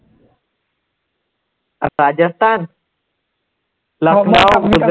Rajasthan,